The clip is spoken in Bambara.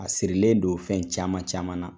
A sirilen don fɛn caman caman na.